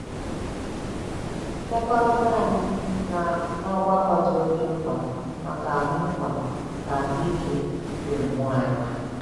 Mmekọrịta anyị na ọgbakọ dị oké mkpa maka ahụ́ mkpa maka ahụ́ ike ime mmụọ anyị.